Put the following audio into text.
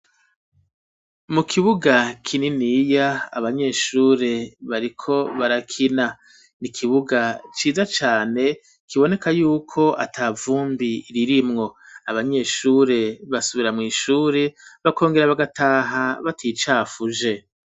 Mu kibuga kininiya abanyeshuri bariko barakina nikibuga ciza cane kiboneka yuko atavumbi ririmwo, abanyeshuri basubira mwishuri bakongera bagataha baticafuje.